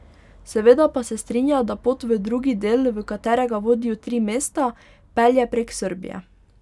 Seveda pa se strinja, da pot v drugi del, v katerega vodijo tri mesta, pelje prek Srbije.